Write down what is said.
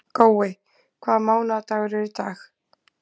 Gói, hvaða mánaðardagur er í dag?